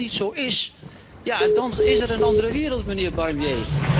Maar als dat niet zo is, dan is er een andere wereld, mijnheer Barnier.